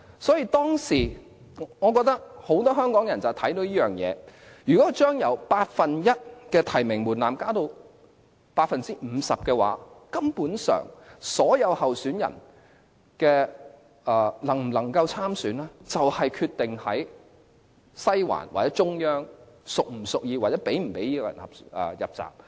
所以，我覺得當時有很多香港人看到這點，如果把由八分之一的提名門檻，增至 50%， 所有候選人能否參選，根本取決於西環或中央是否屬意該人，又或是否讓該人"入閘"。